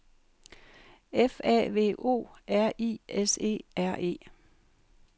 F A V O R I S E R E